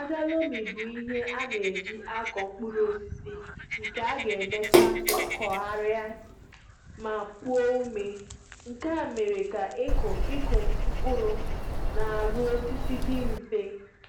Ájá lomi bụ ihe a na e jì á kọ mkpụrụ osisi nke a ga emecha kụ gharia ma opuo ome, nkè á mèrè ka ịkụ ịkụ mkpụrụ na arụ osisi dị mfe